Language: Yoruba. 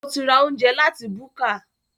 Ṣo ti ra oúnjẹ láti búkà?